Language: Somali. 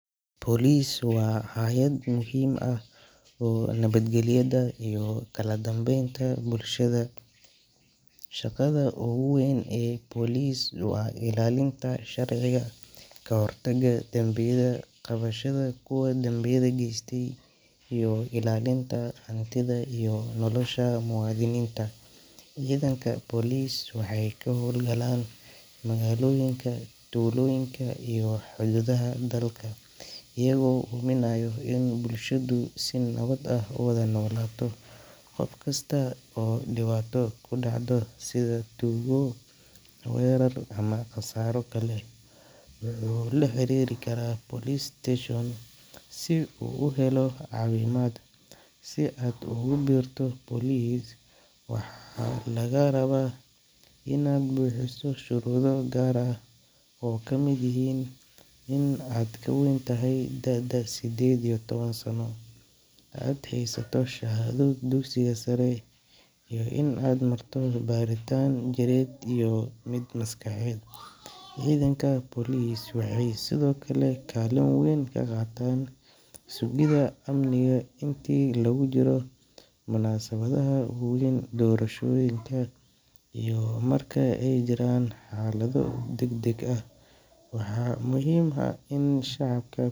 Police waa hay'ad muhiim u ah nabadgelyada iyo kala dambeynta bulshada. Shaqada ugu weyn ee police waa ilaalinta sharciga, kahortagga dambiyada, qabashada kuwa dembiyada geysta iyo ilaalinta hantida iyo nolosha muwaadiniinta. Ciidanka police waxay ka howlgalaan magaalooyinka, tuulooyinka iyo xuduudaha dalka, iyagoo hubinaya in bulshadu si nabad ah u wada noolaato. Qof kasta oo dhibaato ku dhacdo sida tuugo, weerar ama khasaaro kale, wuxuu la xiriiri karaa police station si uu u helo caawimaad. Si aad ugu biirto police, waxaa lagaa rabaa inaad buuxiso shuruudo gaar ah oo ay kamid yihiin in aad ka weyntahay da’da siddeed iyo toban sano, aad haysato shahaado dugsiga sare, iyo in aad marto baaritaan jireed iyo mid maskaxeed. Ciidanka police waxay sidoo kale kaalin weyn ka qaataan sugidda amniga intii lagu jiro munaasabadaha waaweyn, doorashooyinka, iyo marka ay jiraan xaalado degdeg ah. Waxaa muhiim ah in shacabka.